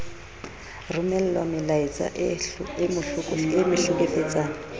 romellwa melaetsa e mo hlekefetsang